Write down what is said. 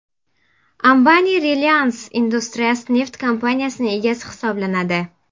Ambani Reliance Industries neft kompaniyasining egasi hisoblanadi.